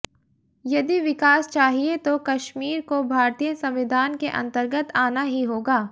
यदि विकास चाहिये तो कश्मीर को भारतीय संविधान के अंतर्गत आना ही होगा